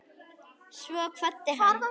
Svo kvaddi hann.